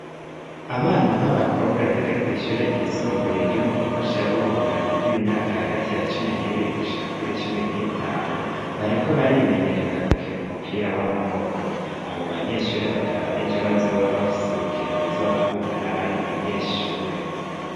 Abana b'abakobwa biga kw’ishure ryisumbuye ryo mu gihosha burunganwe rw'imyaka hagati ya cumi n'ibiri gushika kuri cumi n'itanu, bariko barimenyereza gukina umupira w'amaboko abo banyeshure bakaba ejo bazoba bafise urukino ruzobahuza n'abandi banyeshure.